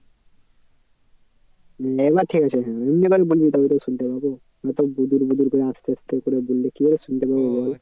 এবার ঠিক আছে হ্যাঁ এইভাবে বলবি তবে তো শুনতে পাবো। নয়তো গুজুর গুজুর করে আস্তে আস্তে করে বললে কি করে শুনতে পাবো